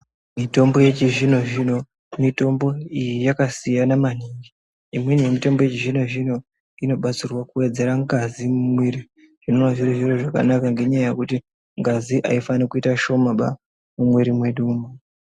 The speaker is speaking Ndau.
Mitombo yechizvino zvino mitombo iyi yakasiyana maningi imweni yemitombo yechizvino zvino inobatsira kuwedzera ngazi mumwiri zvinova zviri zviro zvakanaka ngekuti ngazi haufani kuita shoma mumwiri medu.